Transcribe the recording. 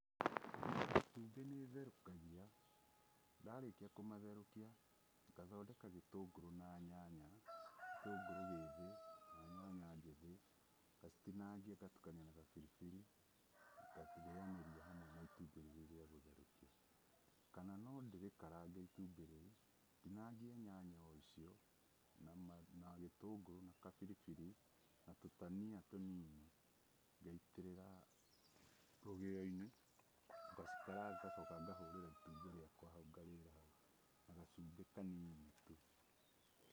Matumbĩ nĩ therukagia ndarĩkia kũmatherũkia ngathondeka gĩtũngũrũ na nyanya, gĩtũngũrũ gĩthĩ na nyanya njĩthĩ. Ngacitinangia ngatukania na gabiribiri ngacirĩanĩria hamwe na itumbĩ rĩu rĩa gũtherũkio. Kana no ndĩrĩkarange itumbĩ rĩu ndinangie nyanya o icio na gĩtũngũrũ na kabiribiri na tũtania tũ nini ngaitĩrĩra rũgĩo-inĩ ngacikaranga ngacoka ngahũrĩra itumbĩ rĩakwa ngarĩra hau na gacumbĩ kanini tu.